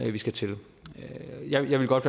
vi skal til jeg vil godt